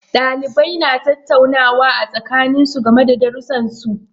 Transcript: Dalibai na tattaunawa a tsakanin su game da darrusan su.